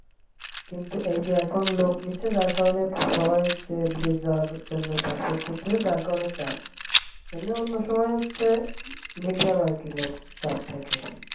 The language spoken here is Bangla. কিন্তু এখন এই যে লোক নিচ্ছে যার কারণে সবাই হচ্ছে বিদেশ যাওয়ার জন্য passport করতে যার কারণে চাপ এমনি অন্য সময় হচ্ছে medium আরকি লোক চাপ থাকে।